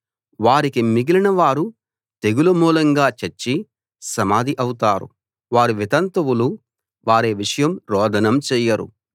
వారికి మిగిలిన వారు తెగులు మూలంగా చచ్చి సమాధి అవుతారు వారి వితంతువులు వారి విషయం రోదనం చెయ్యరు